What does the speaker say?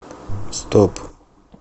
стоп